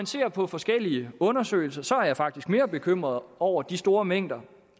ser på forskellige undersøgelser er jeg faktisk mere bekymret over de store mængder